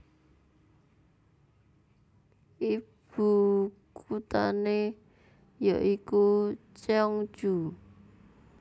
Ibukuthane ya iku Cheongju